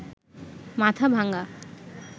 Mathabhanga